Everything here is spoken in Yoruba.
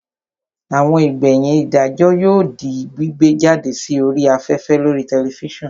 Àwọn ìgbẹ̀yìn ìdájọ́ yóò di gbígbé jáde sí orí afẹ́fẹ́ lórii tẹlifísàn